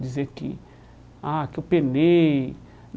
Dizer que ah que eu penei.